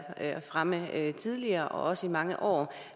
fremme tidligere også igennem mange år